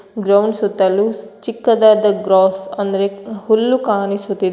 Ground ಸುತ್ತಲು ಚಿಕ್ಕದಾದ grass ಅಂದ್ರೆ ಹುಲ್ಲು ಕಾಣಿಸುತ್ತಿದೆ.